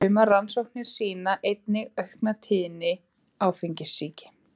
Sumar rannsóknir sýna einnig aukna tíðni áfengissýki.